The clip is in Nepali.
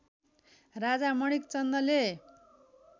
राजा मणिक चन्दले